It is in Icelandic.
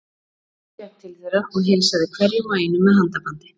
Jón gekk til þeirra og heilsaði hverjum og einum með handabandi.